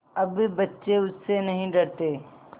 अब बच्चे उससे नहीं डरते